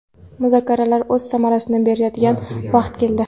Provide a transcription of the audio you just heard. Muzokaralar o‘z samarasini beradigan vaqt keldi.